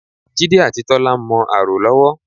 Jídé àti Tọ́lá ń mọ ààrò lọ́wọ́